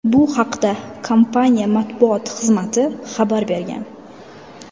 Bu haqda kompaniya matbuot xizmati xabar bergan .